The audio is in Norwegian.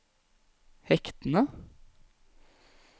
hektene